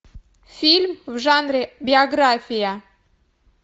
фильм в жанре биография